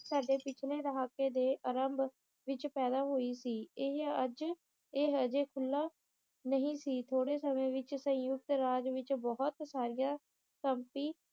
ਸਾਡੇ ਪਿਛਲੇ ਦਹਾਕੇ ਦੇ ਆਰੰਭ ਵਿਚ ਪੈਦਾ ਹੋਈ ਸੀ ਇਹ ਅੱਜ ਇਹ ਹਜੇ ਖੁੱਲ੍ਹਾ ਨਹੀਂ ਸੀ ਥੋੜੇ ਸਮੇ ਵਿਚ ਸੰਯੁਕਤ ਰਾਜ ਵਿਚ ਬਹੁਤ ਸਾਰੀਆਂ ਸਮਪੀ